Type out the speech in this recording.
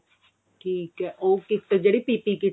ਠੀਕ ਹੈ ਉਹ kit ਜਿਹੜੀ PPE kit